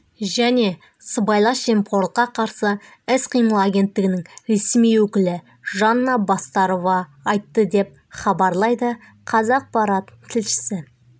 және сыбайлас жемқорлыққа қарсы іс-қимыл агенттігінің ресми өкілі жанна бастарова айтты деп хабарлайды қазақпарат тілшісі